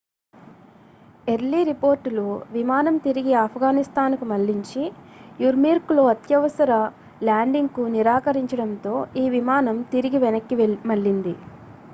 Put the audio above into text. early రిపోర్టులు విమానం తిరిగి ఆఫ్గనిస్తాన్ కు మళ్లించి యుర్మ్కీలో అత్యవసర ల్యాండింగ్ కు నిరాకరించడంతో ఈ విమానం తిరిగి వెనక్కి మళ్లింది